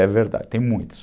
É verdade, tem muitos.